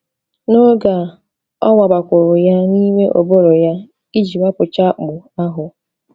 N’oge a, ọ wabakwuru ya n’ime ụbụrụ ya iji wapụchaa akpụ ahụ.